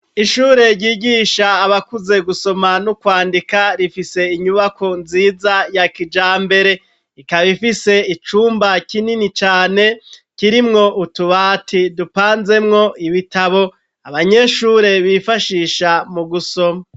ishure ry'igisha abakuze gusoma no kwandika rifise inyubako nziza ya kijambere ikaba ifise icumba kinini cane kirimwo utubati dupanzemwo ibitabo abanyeshure bifashisha mu gusoma.